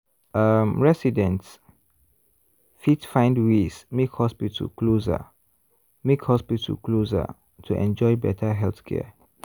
um residents fit find ways make hospital closer make hospital closer to enjoy better healthcare.